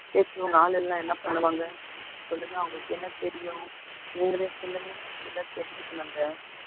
பேசுனவங்க ஆளு இல்லைன்னா என்ன பண்ணுவாங்க, சொல்லுங்க அவங்களுக்கு என்ன தெரியும், நீங்களே சொல்லுங்க இதெல்லாம் தெரிஞ்சுக்கணுங்க